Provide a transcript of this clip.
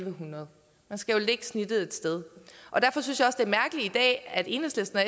en hundrede man skal jo lægge snittet et sted derfor synes jeg også det er mærkeligt at enhedslisten og